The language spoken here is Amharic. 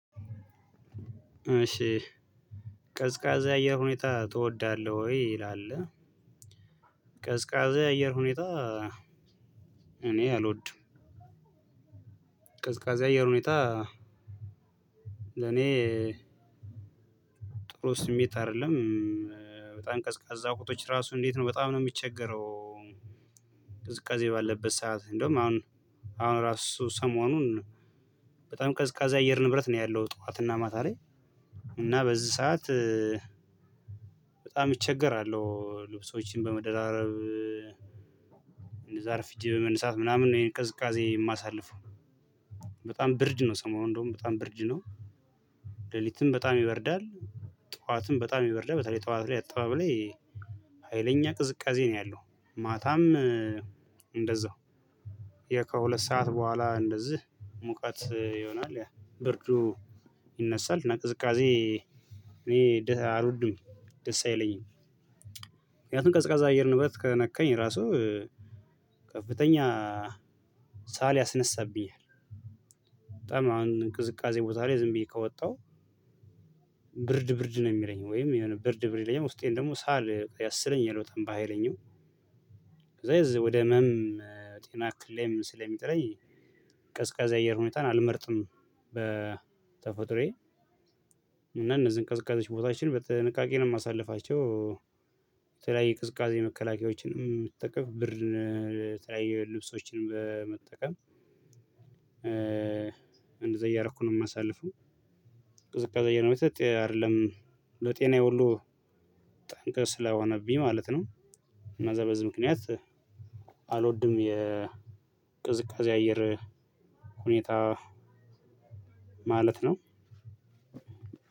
እሺ ቀዝቃዛ አየር ሁኔታ ትወዳለህ ወይ ይላል? ቀዝቃዛ የአየር ሁኔታ እኔ አልወድም። ቀዝቃዛ የአየር ሁኔታ ለኔ ጥሩ ስሜት አይደለም። በጣም ቀዝቃዛ ቦቶች ራሱ እንዴት ነው በጣም ነው የሚቸገረው። ቅዝቃዜ ባለበት ሰዓት እንደውም አሁን አሁን ራሱ ሰሞኑን በጣም ቀዝቃዜ አየር ንብረት ነው ያለው ጠዋት እና ማታ ላይ። እና በዚህ ሰዓት በጣም እቸገራለሁ። ልብሶችን በመደራረብ እንደዛ አርፍጄ በመነሳት ምናምን ነው ይሄን ቅዝቃዜ የማሳልፈው። በጣም ብርድ ነው ሰሞኑን እንደውም በጣም ብርድ ነው። ሌሊትም በጣም ይበርዳል። ጠዋትም በጣም ይበርዳል በተለይ ጠዋት ላይ አጠባብ ላይ ሀይለኛ ቅዝቃዜ ነው ያለው። ማታም እንደዛው ከሁለት ሰዓት በኋላ እንደዚህ ሙቀት ይሆናል ያ ብርዱ ይነሳል እና ቅዝቃዜ እኔ ድህ አልውድም ደስ አይለኝም። ምክንያቱም ቅዝቃዛ አየር ንብረት ከነካኝ ራሱ ከፍተኛ ሳል ያስነሳብኛል። በጣም አሁን ቅዝቃዜ ቦታ ላይ ዝም ብዬ ከወጣሁ ብርድ ብርድ ነው የሚለኝ ወይም የሆነ ብርድ ብርድ ለኛ ውስጤን ደግሞ ሳል ያሰለኝ እየሮጠ ባህይለኛው ከዛ ወደ እመም ጤና ክሌም ስለሚጥለኝ ቀዝቃዛ አየር ሁኔታን አልመርጥም። በተፎጥሮየ እነዚህን ቅዝቃዜዎች ቦታችን በጥንቃቂ ነው የማሳልፋቸው። በተለያየ ቅዝቃዜ መከላከያዎችንም እጠቀም ብርድ ላ የተለያዩ ልብሶችንም በመጠቀም እንደዛ እያረኩ ነው የማሳልፈው። ቅዝቃዜ ነው የምጠለው አይደለም ለጤናዬ ሁሉ ጠንቅል ስለሆነብኝ ማለት ነው። እና በዚህ ምክንያት አልወድም የቅዝቃዜ አየር ሁኔታ ማለት ነው።